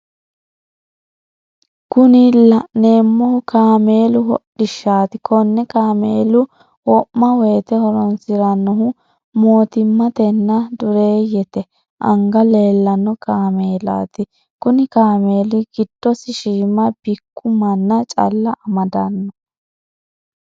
Kunni la'neemohu kaameelu hodhishaati kanne kameela womawote horoonsiranohu mootimmatenna dureeyete anga leellano kaameelaati kunni kaameeli gidosi shiima bikku manna calla amadano.